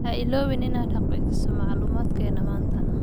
Ha iloobin inaad xaqiijiso macluumaadkena manta.